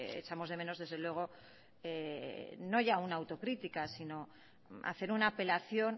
echamos de menos desde luego no ya una autocrítica sino hacer una apelación